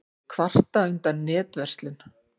Kvarta undan netverslun